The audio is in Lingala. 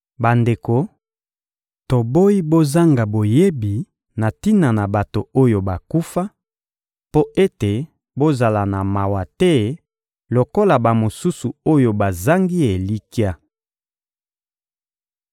Bandeko, toboyi bozanga boyebi na tina na bato oyo bakufa, mpo ete bozala na mawa te lokola bamosusu oyo bazangi elikya.